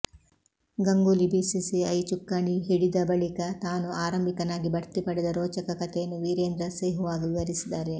Ganguly BCCI ಚುಕ್ಕಾಣಿ ಹಿಡಿದ ಬಳಿಕ ತಾನು ಆರಂಭಿಕನಾಗಿ ಬಡ್ತಿ ಪಡೆದ ರೋಚಕ ಕತೆಯನ್ನು ವಿರೇಂದ್ರ ಸೆಹ್ವಾಗ್ ವಿವರಿಸಿದ್ದಾರೆ